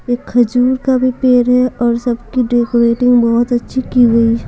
एक खजूर का भी पेड़ है और सबकी डेकोरेटिंग बहुत अच्छी की हुई है।